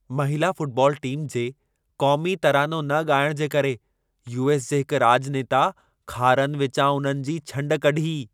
महिला football team जे क़ौमी तरानो न ॻाइण जे करे यू.एस. जे हिक राॼनेता खारनि विचां उन्हनि जी छंड कढी।